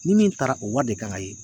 Ni min taara o wari de kan ka ye.